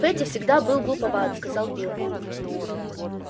фэтти всегда был глуповат сказал билл